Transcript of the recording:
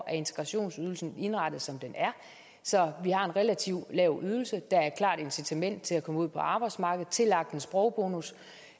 er integrationsydelsen indrettet som den er så vi har en relativt lav ydelse der er et klart incitament til at komme ud på arbejdsmarkedet tillagt en sprogbonus